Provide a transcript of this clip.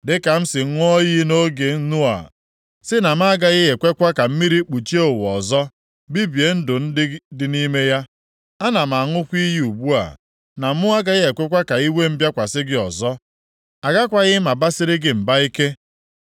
“Dịka m si ṅụọ iyi nʼoge Noa sị na m agaghị ekwekwa ka mmiri kpuchie ụwa ọzọ, bibie ndụ ndị dị nʼime ya, ana m aṅụkwa iyi ugbu a na mụ agaghị ekwe ka iwe m bịakwasị gị ọzọ. Agakwaghị m abasiri gị mba ike.